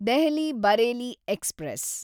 Delhi Bareilly express